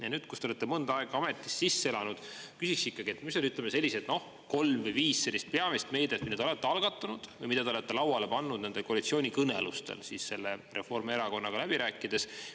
Ja nüüd, kus te olete mõnda aega ametis sisse elanud, küsiks ikkagi, mis on, ütleme, sellised, noh, kolm või viis peamist meedet, mille te olete algatanud või mida te olete lauale pannud nende koalitsioonikõnelustel selle Reformierakonnaga läbi rääkides.